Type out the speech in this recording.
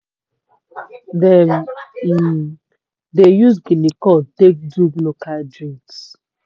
dem um dey use guinea corn take do local drinks.